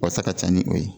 Wasa ka ca ni o ye